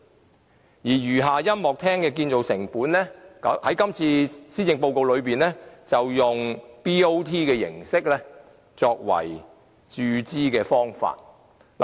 至於餘下的音樂中心的建造成本，政府在今次施政報告提出以 BOT 形式作為注資的方法。